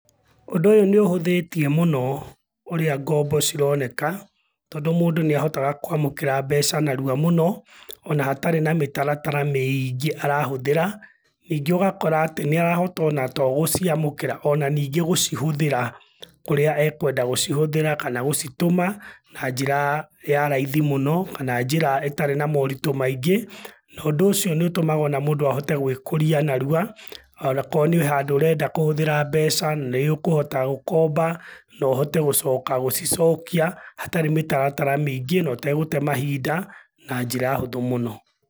Ũndũ ũyũ nĩũhũthĩtie mũno, ũrĩa ngombo cironeka, tondũ mũndũ nĩahotaga kũamũkĩra mbeca narua mũno, ona hatarĩ na mĩtaratara mĩiingĩ arahũthĩra. Ningĩ ũgakora atĩ nĩarahota ona to gũciamũkĩra, ona ningĩ gũcihũthĩra, kũrĩa ekwenda gũcihũthĩra kana gũcitũma na njĩra ya raithi mũno, kana njĩra ĩtarĩ na moritũ maingĩ, na ũndũ ũcio nĩũtũmaga ona mũndũ ahote gũĩkũria narua, onakorũo wĩ handũ ũrenda kũhũthĩra mbeca, nĩũkũhota gũkomba, naũhote gũcoka gũcicokia, hatarĩ mĩtaratara mĩingĩ na ũtegũte mahinda, na njĩra hũthũ mũno.